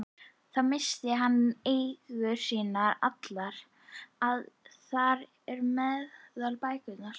Þá missti hann eigur sínar allar, þar á meðal bækurnar.